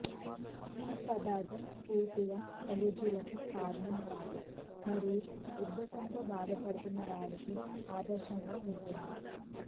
ఈ పదార్ధం పూర్తిగా అలెర్జీలకు కారణం కాదు మరియు ఉబ్బసంతో బాధపడుతున్న వారికి ఆదర్శంగా ఉంటుంది